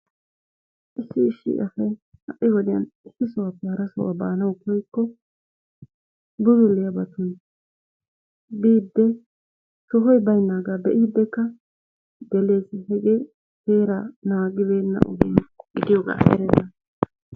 issi issi asay ha'i wodiyan issi sohuwappe hara sohuwa baanaw koyyiko bulluliyaabatun biide sohoy baaynaaga be'dekka gelees, gelidi heeraa naagibeena ogiyaa gidiyooga erenna